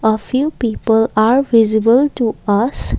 a few people are visible to us.